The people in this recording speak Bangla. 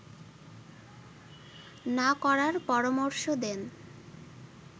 না করার পরামর্শ দেন